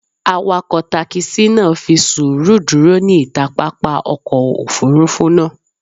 Awakọ takisi naa fi suuru duro ni ita papa ọkọ ofurufu naa